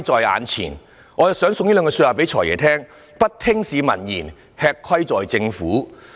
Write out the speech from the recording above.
我也想把一句話送給"財爺"，就是"不聽市民言，吃虧在政府"。